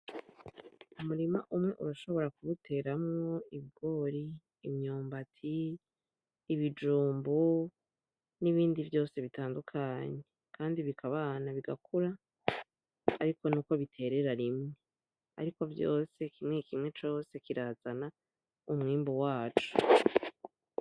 Umurima umwe urashobora kuwuteramwo Ibigori, imyumbati, ibijumbu n’ibindi vyose bitandukanye, kandi bikabana bigakura. Ariko nuko biterera rimwe ariko vyose kimwe kimwe cose kirazana umwimbu waco.